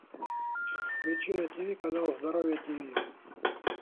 включи на ти ви канал здоровье ти ви